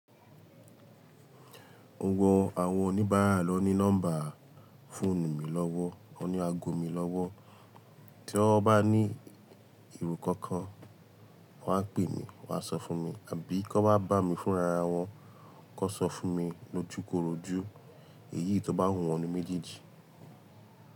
Gbogbo àwọn oníbàárà ló ní nọ́mbà fóònù mi lọ́wọ́, wọ́n ní aago mi lọ́wọ́. Tí wọ́n bá ní ero kankan, wọ́n á pè mí, wọ́n á sọ fún mi. Àbí kan wá bá mi fúnra ara wọn, kan sọ fún mi lójukorojú èyí tó bá wù wọ́n ní méjèèjì.